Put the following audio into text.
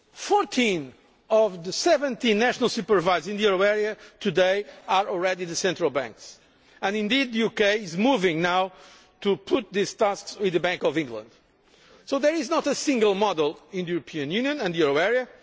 Fourteen out of the 17 national supervisors in the euro area today are already the central banks, and the UK is now in fact moving to place these tasks with the Bank of England, so there is not one single model in the European Union and the euro area.